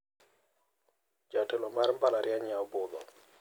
Jatelo mar mbalariany yawo budho.